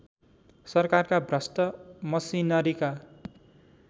सरकारका भ्रष्ट मसिनरीका